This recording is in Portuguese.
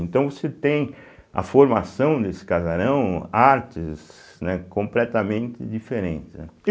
Então você tem a formação desse casarão, artes né completamente diferentes né.